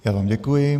Já vám děkuji.